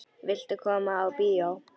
Viltu koma á bíó?